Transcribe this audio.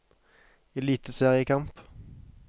eliteseriekamp